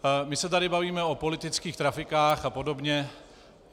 My se tady bavíme o politických trafikách a podobně.